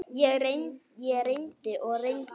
Ég reyndi og reyndi.